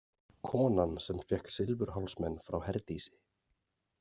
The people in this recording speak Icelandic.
Konan sem fékk silfurhálsmen frá Herdísi.